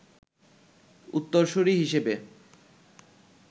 উত্তরসুরী হিসেবে